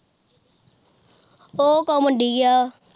ਉਹ ਘਮੰਡੀ ਆ